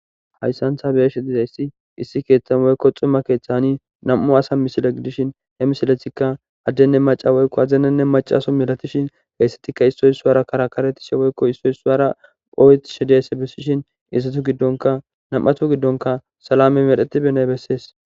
Hayssan ta beeshi diza issi issi keeththan woykko xuma keeththani nam'u asa misile gidishin he misiletikka addenne maca woykko azinanne macaso milatishin heyssetikka issoy issuwara karakaretishe woykko issoy issuwara ooyetishi diza bessishin izzatu giddonka nam'atu giddonka salame medhetibenay bessees.